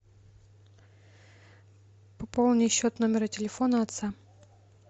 пополни счет номера телефона отца